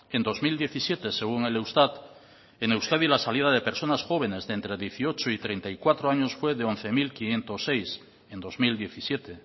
en dos mil diecisiete según el eustat en euskadi la salida de personas jóvenes entre dieciocho y treinta y cuatro años fue de once mil quinientos seis en dos mil diecisiete